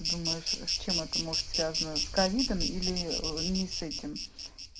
думаешь с чем это может связано с ковидом или ни с этим